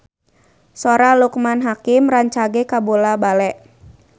Sora Loekman Hakim rancage kabula-bale